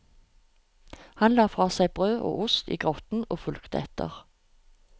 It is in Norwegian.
Han la fra seg brød og ost i grotten og fulgte etter.